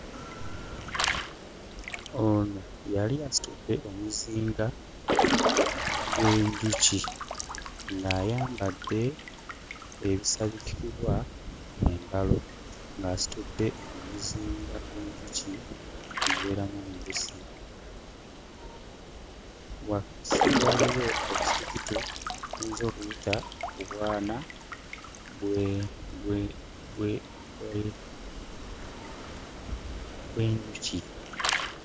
Ono yali asitudde omuzinga gw'enjuki ng'ayambadde ebisabikibwa mu ngalo, ng'asitudde omuzinga gw'enjuki ogubeeramu omubisi. Wansi waaliyo obusirikitu bw'oyinza okuyita obwana bwe bwe bwe bw'enjuki.